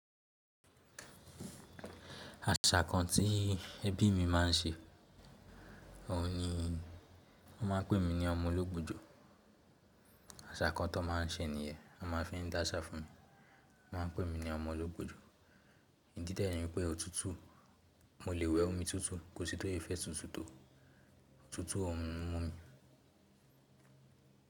Àṣà kan tí ẹbí mi máa ń ṣe, òhun ni wọ́n máa ń pè mí ní ọmọ ológbòjò. Àṣà kan tó máa ń ṣe nìyẹn. Wọ́n máa ń fi dáṣà fún mi. Wọ́n máa ń pè mí ní ọmọ ológbòjò. Ìdí dẹ̀ ni wípé òtútù, mo lè wẹ omi tútù, kò sí tó se fẹ́ tútù tò. Tútù ò kí n múmi.